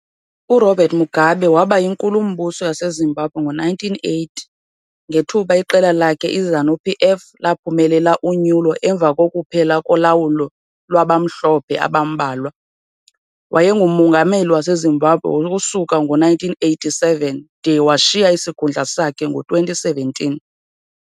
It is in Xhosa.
URobert Mugabe waba yiNkulumbuso yaseZimbabwe ngo-1980, ngethuba iqela lakhe iZANU-PF laphumelela unyulo emva kokuphela kolawulo lwabamhlophe abambalwa, wayenguMongameli waseZimbabwe ukusuka ngo-1987 de washiya isikhundla sakhe ngo-2017.